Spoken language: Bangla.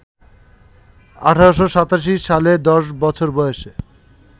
১৮৮৭ সালে দশ বছর বয়সে